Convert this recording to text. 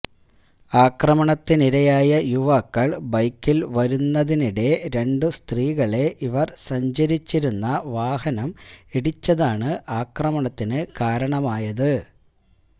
ആക്രമണത്തിനിരയായ യുവാക്കൾ ബൈക്കിൽ വരുന്നതിനിടെ രണ്ടു സ്ത്രീകളെ ഇവർ സഞ്ചരിച്ചിരുന്ന വാഹനം ഇടിച്ചതാണ് ആക്രമണത്തിനു കാരണമായത്